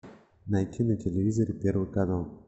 найти на телевизоре первый канал